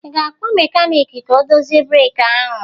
Ị ga-akpọ mekanịkị ka ọ dozie breeki ahụ?